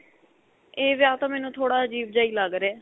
ਇਹ ਵਿਆਹ ਤਾਂ ਮੈਨੂੰ ਥੋੜਾ ਅਜੀਬ ਜਿਹਾ ਹੀ ਲੱਗ ਰਿਹਾ